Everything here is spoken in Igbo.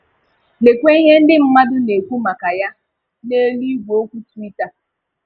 Lekwa ihe ndị mmadụ na-ekwu maka ya n’elu igwe okwu Twitter.